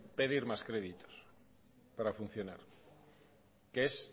pedir más créditos para funcionar que es